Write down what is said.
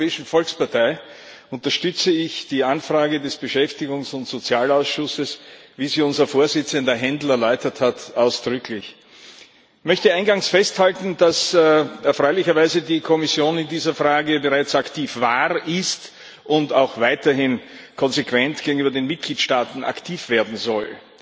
Namens der Europäischen Volkspartei unterstütze ich die Anfrage des Ausschusses für Beschäftigung und soziale Angelegenheiten, wie sie unser Vorsitzender Händel erläutert hat, ausdrücklich. Ich möchte eingangs festhalten, dass erfreulicherweise die Kommission in dieser Frage bereits aktiv war, ist und auch weiterhin konsequent gegenüber den Mitgliedstaaten aktiv werden soll.